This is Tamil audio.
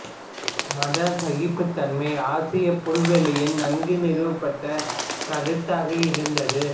மத சகிப்புத்தன்மை ஆசியப் புல்வெளியில் நன்கு நிறுவப்பட்ட கருத்தாக இருந்தது